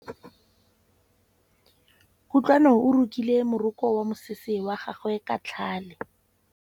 Kutlwanô o rokile morokô wa mosese wa gagwe ka tlhale.